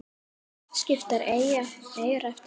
Skiptar eyjar eftir stærð